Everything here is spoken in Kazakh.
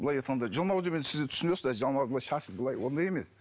былай айтқанда жалмауыз деп енді сіздер түсінесіздер жалмауыз шашы былай ондай емес